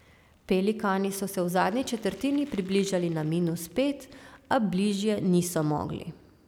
Pelikani so se v zadnji četrtini približali na minus pet, a bližje niso mogli.